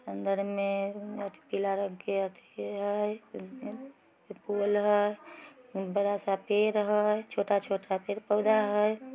अन्दर में अथी पीला रंग के अ अथी हई अ अ बड़ा सा पुल हई छोटा-छोटा पेड़-पौधा हई।